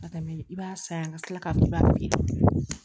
Ka tɛmɛ i b'a san yan ka kila k'a kɛ